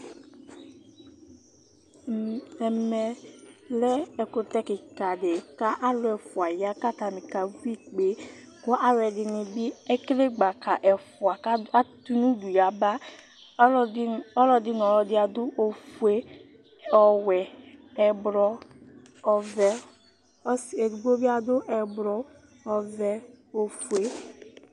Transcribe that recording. Ɛmɛ lɛ ɛkutɛ kikã ɖi Ku ãlu ɛfua ya Ku atani aka ʋi ikpé Aluɛɖini bi ekele gbaka ɛfua Ku aɖ, atu nu uɖu yaba Aluɛɖin, ɔlɔɖi nu ɔlɔɖi aɖu ofue, ɔwɛ, ɛblɔ, ɔʋɛ Ɔsi eɖigbo bi aɖu ɛblɔ, ɔvɛ, ofue